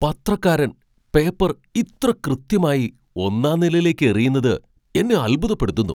പത്രക്കാരൻ paper ഇത്ര കൃത്യമായി ഒന്നാം നിലയിലേക്ക് എറിയുന്നത് എന്നെ അത്ഭുതപ്പെടുത്തുന്നു.